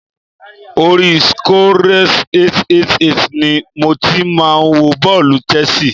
Orí Scores888 ni mo ti máa wo bọ́ọ̀lù Chelsea.